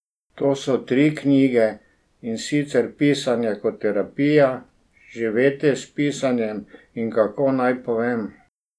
To so tri knjige, in sicer Pisanje kot terapija, Živeti s pisanjem in Kako naj povem?